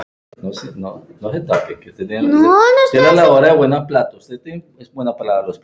Það var eitt sinn.